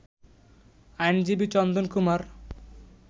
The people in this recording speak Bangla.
আইনজীবী চন্দন কুমার